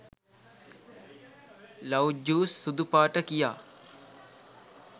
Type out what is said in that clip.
love juice සුදු පාට කියා